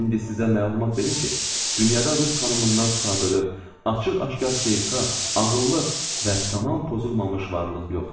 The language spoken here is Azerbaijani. İndi sizə məlumat verim ki, dünyada rus xanımından sadəlövh, açıq-aşkar xeyirxah, ağıllı və tamam pozulmamış varlıq yoxdur.